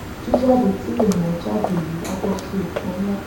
jíjáde tí ènìà jáde yìí á bọ sí oko nlá